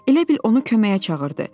Elə bil onu köməyə çağırdı.